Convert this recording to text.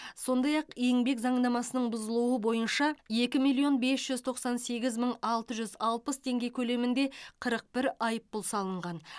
сондай ақ еңбек заңнамасының бұзылуы бойынша екі миллион бес жүз тоқсан сегіз мың алты жүз алпыс теңге көлемінде қырық бір айыппұл салынған